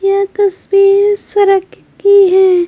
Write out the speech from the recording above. या तस्वीर सरक की है ।